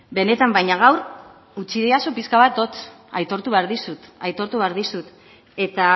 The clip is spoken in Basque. benetan baina gaur utzi didazu pixka bat hotz aitortu behar dizut aitortu behar dizut eta